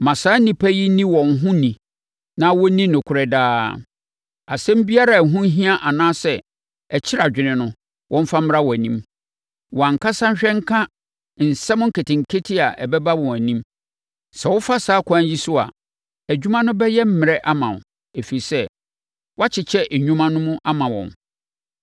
Ma saa nnipa yi nni wɔn ho ni na wɔnni nokorɛ daa. Asɛm biara a ɛho hia anaa ɛkyere adwene no, wɔmfa mmra wʼanim. Wɔn ankasa nhwɛ nka nsɛm nketenkete a ɛbɛba wɔn anim. Sɛ wofa saa ɛkwan yi so a, adwuma no bɛyɛ mmerɛ ama wo, ɛfiri sɛ, woakyekyɛ nnwuma no ama wɔn.